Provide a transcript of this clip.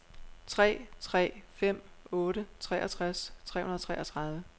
tre tre fem otte treogtres tre hundrede og treogtredive